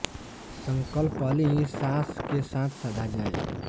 संकल्प पहली ही सांस के साथ साधा जाए